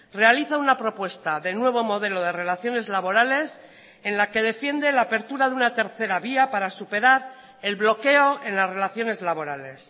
realiza una propuesta de nuevo modelo de relaciones laborales en la que defiende la apertura de una tercera vía para superar el bloqueo en las relaciones laborales